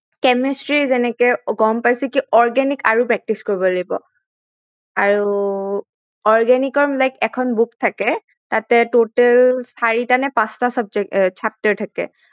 Chemistry যেনেকে গম পাইছো কি organic আৰু practice কৰিব লাগিব আৰু organic ৰ like এখন books থাকে তাতে total চাৰিটা নে পাচটা subject chapter থাকে